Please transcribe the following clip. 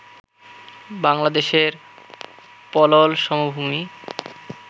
বাংলাদেশের পলল সমভুমি